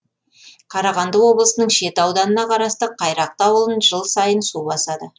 қарағанды облысының шет ауданына қарасты қайрақты ауылын жыл сайын су басады